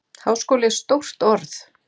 Háskóli er stórt orð.